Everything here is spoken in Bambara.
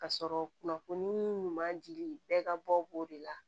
Ka sɔrɔ kunnafoni ɲuman dili bɛɛ ka bɔ b'o de la